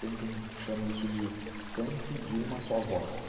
Tem quem chame isso de canto de uma só voz.